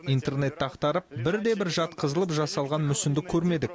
интернетті ақтарып бірде бір жатқызылып жасалған мүсінді көрмедік